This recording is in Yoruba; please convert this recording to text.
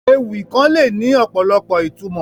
Ewì kàn le ni ọ̀pọ̀lọpọ̀ ìtumọ̀